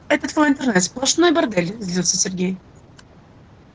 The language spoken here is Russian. это твой интернет сплошной бордель злился сергей